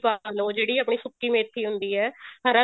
ਪਾਲੋ ਜਿਹੜੀ ਆਪਣੀ ਸੁੱਕੀ ਮੇਥੀ ਹੁੰਦੀ ਹੈ ਹਰਾ